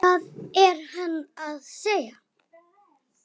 Hvað er hann að segja?